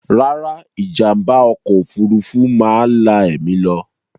Rárá, ìjàm̀bá ọkọ̀ òfurufú máa la ẹ̀mí lọ.